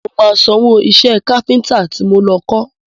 Mo máa sanwó iṣẹ́ káfíntà ti mo lọ kọ.